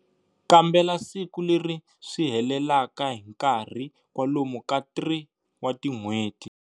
Kambela siku leri swi helelaka hi nkarhi kwalomu ka 3 wa tin'hweti.